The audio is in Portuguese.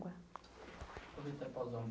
Vou tentar pausar um